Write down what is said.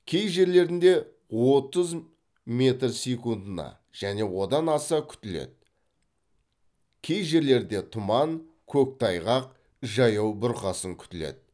кей жерлерінде отыз метр секундына және одан аса күтіледі кей жерлерде тұман көктайғақ жаяу бұрқасын күтіледі